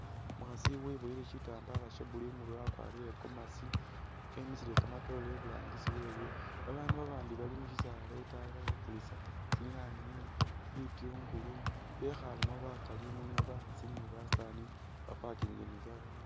umukhasi wubowele shitambala sha'blue imurwe wakwarile komasi emisile kamatore iburangisi wewe babandu babandi bali mushisaala itayi bali khukulisa tsinyanye bityungulu bekhalemo bakali mulimo bakhasi ni basani baparkingile ni gari.